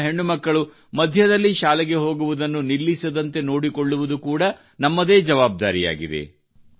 ನಮ್ಮ ಹೆಣ್ಣು ಮಕ್ಕಳು ಮಧ್ಯದಲ್ಲಿ ಶಾಲೆಗೆ ಹೋಗುವುದನ್ನು ನಿಲ್ಲಿಸದಂತೆ ನೋಡಿಕೊಳ್ಳುವುದು ಕೂಡಾ ನಮ್ಮದೇ ಜವಾಬ್ದಾರಿಯಾಗಿದೆ